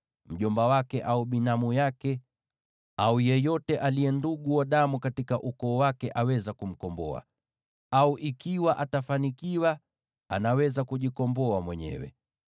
Mjomba wake, au binamu yake, au yeyote aliye ndugu wa damu katika ukoo wake aweza kumkomboa. Au ikiwa atafanikiwa, anaweza kujikomboa mwenyewe.